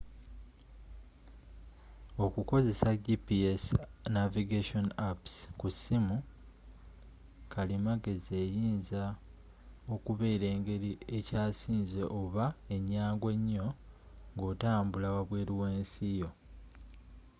okukozesa gps navigation apps ku ssimu kalimagezi eyinza okubeera engeri ekyasinze oba enyangu ennyo ng’otambula wabweru w’ensi yo